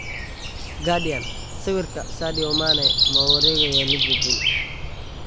(Guardian) Sawirka, Sadio Mane ma u wareegayaa Liverpool?